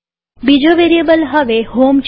બીજો વેરીએબલ હવે હોમ છે